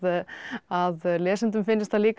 að lesendum finnist það líka